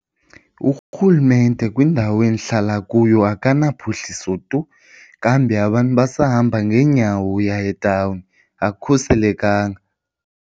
Urhulumente kwindawo endihlala kuyo akana phuhliso tu kambe abantu basahamba ngeenyawo uya etawuni akukhuselekanga.